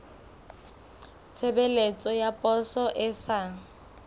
tshebeletso ya poso e sa